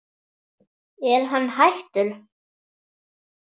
Er hann hættur?